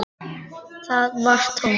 Það var tómt.